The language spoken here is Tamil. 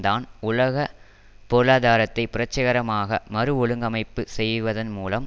தான் உலக பொருளாதாரத்தை புரட்சிகரமாக மறுஒழுங்கமைப்பு செய்வதன் மூலம்